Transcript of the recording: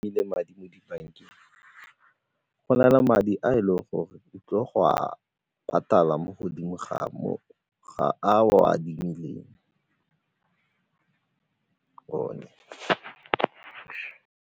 le madi mo dibankeng, go na le madi a e leng gore o tlile go a patala mo godimo ga moo a o a adimileng .